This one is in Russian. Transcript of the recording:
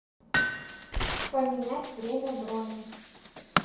поменять время брони